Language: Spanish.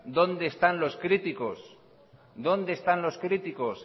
dónde están los críticos